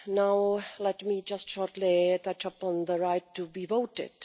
Now let me touch just briefly upon the right to be voted.